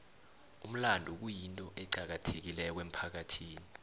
umlando kuyinto eqakathekileko emphakathini